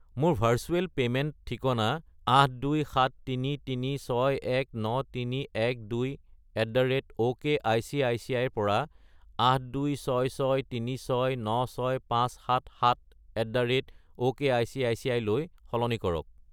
মোৰ virtual payment ঠিকনা 82733619312@okicici -ৰ পৰা 82663696577@okicici -লৈ সলনি কৰক।